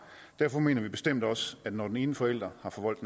derfor mener vi bestemt også at når den ene forælder har forvoldt